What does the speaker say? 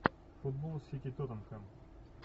футбол сити тоттенхэм